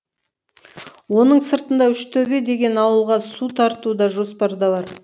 оның сыртында үштөбе деген ауылға су тарту да жоспарда бар